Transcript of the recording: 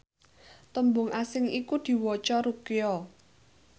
tembung asing iku diwaca Ruqya